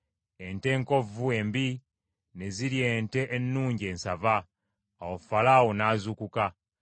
Ente enkovvu, embi ne zirya ente ennungi ensava. Awo Falaawo n’azuukuka.